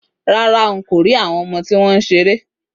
Rárá, n kò rí àwọn ọmọ tí wọ́n ń ṣeré